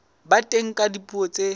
ba teng ka dipuo tse